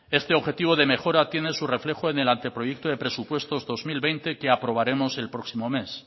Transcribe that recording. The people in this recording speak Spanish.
este objetivo de mejora tiene su reflejo en el anteproyecto de presupuestos dos mil veinte que aprobaremos el próximo mes